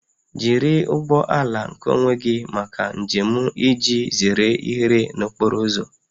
Jiri ụgbọ ala nkeonwe gị maka njem iji zere ihere n'okporo ụzọ